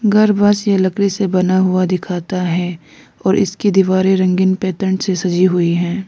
घर बांस या लकड़ी से बना हुआ दिखाता है और इसकी दीवारें रंगीन पैटर्न से सजी हुई है।